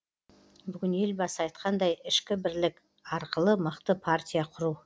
бүгін елбасы айтқандай ішкі бірлік арқылы мықты партия құру